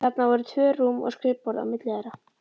Þarna voru tvö rúm og skrifborð á milli þeirra.